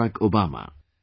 Barack Obama